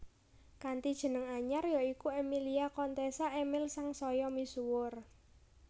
Kanthi jeneng anyar ya iku Emilia Contessa Emil sangsaya misuwur